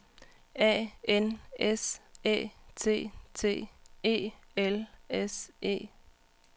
A N S Æ T T E L S E